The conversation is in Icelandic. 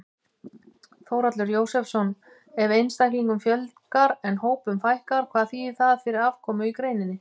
Þórhallur Jósefsson: Ef einstaklingum fjölgar en hópum fækkar, hvað þýðir það fyrir afkomu í greininni?